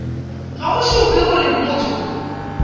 ga go šupe gore motho